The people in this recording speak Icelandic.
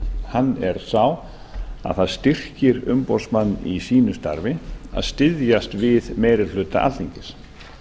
hann er sá að það styrkir umboðsmann í sínu starfi að styðjast við meiri hluta alþingis